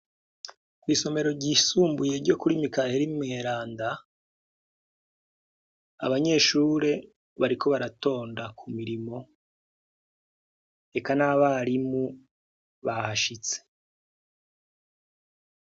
Isomero ryisumbuye ryo kuri Miheyeri umweranda abanyeshure bariko baratonda kumirimo, eka nabarimu bahashitse.